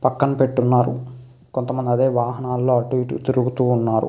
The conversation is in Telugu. పక్కన పెట్టి ఉన్నారు కొంతమంది అదే వాహనాల్లో అటు ఇటు తిరుగుతూ ఉన్నారు.